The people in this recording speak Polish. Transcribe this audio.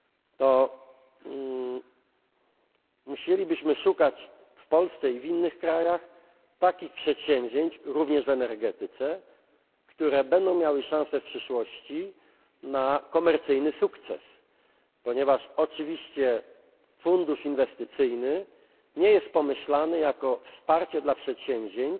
znaczy plan Junckera, to musielibyśmy szukać w Polsce i w innych krajach takich przedsięwzięć, również w energetyce, które będą miały szansę w przyszłości na komercyjny sukces, ponieważ oczywiście fundusz inwestycyjny nie jest pomyślany jako